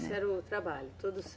Esse era o trabalho? Todo